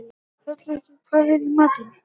Hrolleifur, hvað er í matinn?